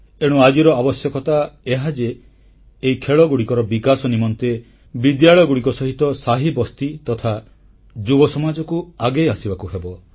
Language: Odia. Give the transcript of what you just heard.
ଏଣୁ ଆଜିର ଆବଶ୍ୟକତା ଏହା ଯେ ଏହି ଖେଳଗୁଡ଼ିକର ବିକାଶ ନିମନ୍ତେ ବିଦ୍ୟାଳୟଗୁଡ଼ିକ ସହିତ ସାହିବସ୍ତି ତଥା ଯୁବ ସମାଜକୁ ଆଗେଇ ଆସିବାକୁ ହେବ